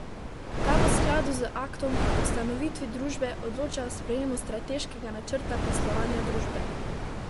Ta v skladu z aktom o ustanovitvi družbe odloča o sprejemu strateškega načrta poslovanja družbe.